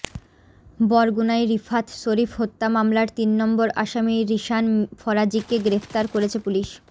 বরগুনায় রিফাত শরীফ হত্যা মামলার তিন নম্বর আসামি রিশান ফরাজীকে গ্রেফতার করেছে পুলিশ